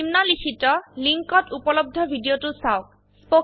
নিম্নলিখিত লিঙ্কত উপলব্ধ ভিডিওটো চাওক